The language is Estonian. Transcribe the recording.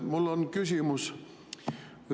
Mul on küsimus.